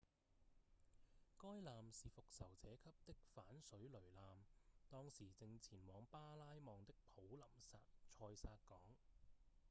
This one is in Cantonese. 該艦是復仇者級的反水雷艦當時正前往巴拉望的普林塞薩港